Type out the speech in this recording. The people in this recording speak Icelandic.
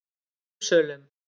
Uppsölum